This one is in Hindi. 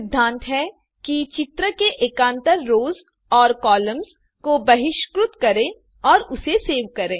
सिद्धांत है कि चित्र के एकान्तर रोस और कॉलम्स को बहिष्कृत करें और उसे सेव करें